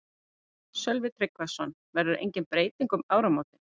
Sölvi Tryggvason: Verður engin breyting um áramótin?